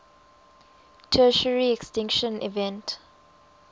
tertiary extinction event